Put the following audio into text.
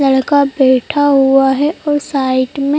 लड़का बैठा हुआ है और साइड में--